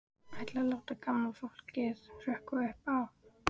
Ætlarðu að láta gamla fólkið hrökkva upp af?